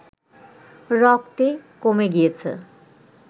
রক্তে কমে গিয়েছে